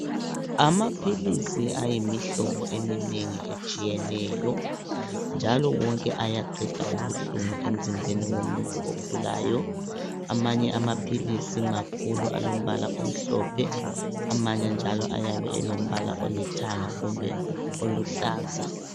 Amaphilisi ayimihlobo eminengi eyetshiyeneyo njalo wonke ayaqeda ubuhlungu emzimbeni womuntu ogulayo. Amanye amaphilisi makhulu alombala omhlophe amanye njalo ayabe elombala olithanga kumbe oluhlaza.